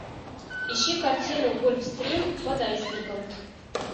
ищи картину гольфстрим под айсбергом